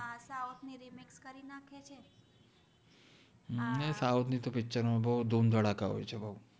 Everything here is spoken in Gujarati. ને સોઉથ નિ પિચરો મ તો બૌ ધુમ ધદકા હોએ છે બૌ